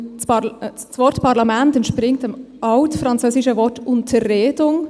Denn das Wort «Parlament» entspringt dem Altfranzösischen Wort «Unterredung».